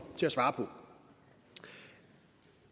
til at svare på